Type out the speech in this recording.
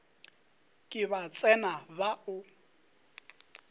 ke ba tsena ba o